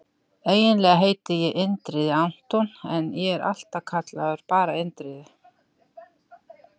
Eiginlega heiti ég Indriði Anton en ég er alltaf kallaður bara Indriði.